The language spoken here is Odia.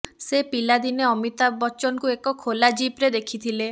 ସେ ପିଲାଦିନେ ଅମିତାଭ ବଚ୍ଚନଙ୍କୁ ଏକ ଖୋଲା ଜିପ୍ରେ ଦେଖିଥିଲେ